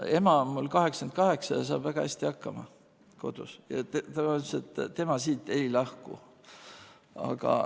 Ema on mul 88 ja saab väga hästi kodus hakkama ja tema ütles, et tema sealt ei lahku.